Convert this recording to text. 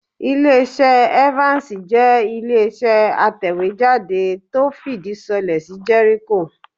Ilẹ́-iṣẹ́ Evans jẹ́ Ilé-iṣẹ́ atẹ̀wéjáde tó fìdí sọlẹ̀ sí Jericho